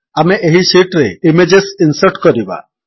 ଆମେ ଏହି ଶୀଟ୍ ରେ ଇମେଜେସ୍ ଇନ୍ସର୍ଟ କରିବା